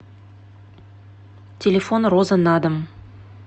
телефон роза на дом